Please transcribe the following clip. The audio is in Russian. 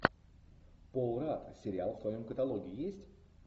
пол радд сериал в твоем каталоге есть